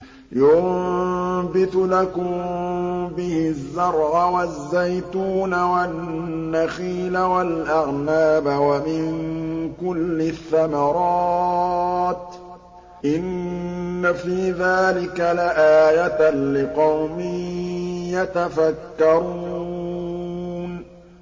يُنبِتُ لَكُم بِهِ الزَّرْعَ وَالزَّيْتُونَ وَالنَّخِيلَ وَالْأَعْنَابَ وَمِن كُلِّ الثَّمَرَاتِ ۗ إِنَّ فِي ذَٰلِكَ لَآيَةً لِّقَوْمٍ يَتَفَكَّرُونَ